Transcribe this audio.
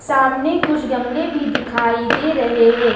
सामने कुछ गमले भी दिखाई दे रहे हैं।